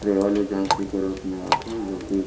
travel agency के रूप मे आथे जोकि--